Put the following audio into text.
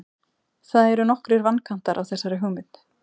það eru nokkrir vankantar á þessari hugmynd